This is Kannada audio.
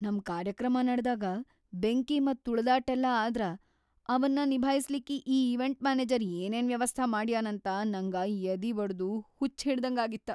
ನಮ್‌ ಕಾರ್ಯಕ್ರಮ ನಡದಾಗ ಬೆಂಕಿ ಮತ್ತ್‌ ತುಳದಾಟೆಲ್ಲಾ ಆದ್ರ ಅವನ್ನ ನಿಭಾಸ್ಲಿಕ್ಕಿ ಈ ಈವೆಂಟ್‌ ಮ್ಯಾನೆಜರ್‌ ಏನೇನ್‌ ವ್ಯವಸ್ಥಾ ಮಾಡ್ಯಾನಂತ ನಂಗ ಯದಿವಡದು ಹುಚ್ಚ್‌ಹಿಡ್ದಂಗಾಗಿತ್ತ.